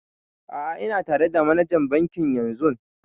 A'a ina tare da manajan bankin yanzun